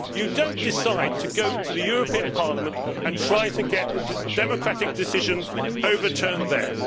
You do not decide to go to the European Parliament and try to get democratic decisions overturned there.